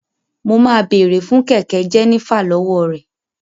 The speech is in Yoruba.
Mo ma bèrè fun kẹkẹ Jenifer lọwọ rẹ.